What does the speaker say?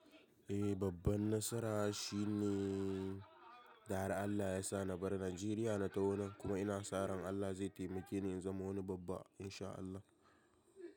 Eh babban nasara shi ne, da har Allah ysa na bar Najeriya na taho nan kuma ina sa ran Allah zai taimakeni in zama wani babba in sha Allah.